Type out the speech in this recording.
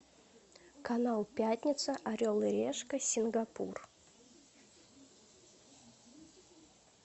канал пятница орел и решка сингапур